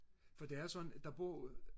for det er sådan der bor jo